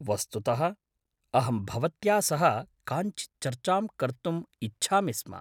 वस्तुतः अहं भवत्या सह काञ्चित् चर्चां कर्तुम् इच्छामि स्म।